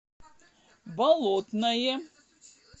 болотное